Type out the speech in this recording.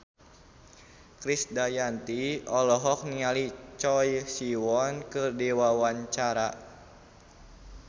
Krisdayanti olohok ningali Choi Siwon keur diwawancara